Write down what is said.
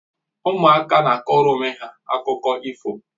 Ụmụaka na akọrọ onwe ha akụkọ ifo